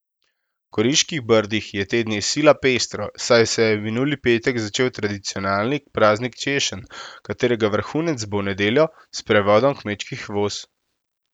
V Goriških brdih je te dni sila pestro, saj se je minuli petek začel tradicionalni praznik češenj, katerega vrhunec bo v nedeljo s sprevodom kmečkih voz.